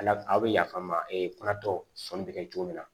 A la a bɛ yafa ma kuratɔ sɔnni bɛ kɛ cogo min na